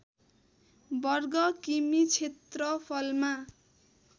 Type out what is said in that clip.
वर्ग किमि क्षेत्रफलमा